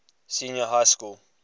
senior high school